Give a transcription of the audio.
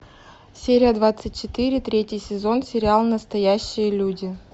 серия двадцать четыре третий сезон сериал настоящие люди